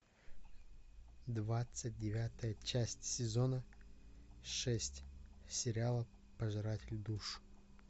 двадцать девятая часть сезона шесть сериала пожиратель душ